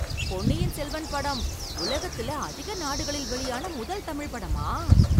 பொன்னியின் செல்வன் படம் உலகத்துல அதிக நாடுகளில் வெளியான முதல் தமிழ் படமா!